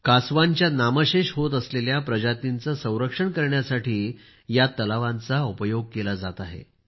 कासव्यांच्या नामशेष होत असलेल्या प्रजातींचे संरक्षण करण्यासाठी या तळ्यांचा उपयोग केला जात आहे